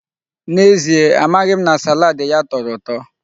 N'ezie, amaghị m na salaadi ya tọrọ ụtọ.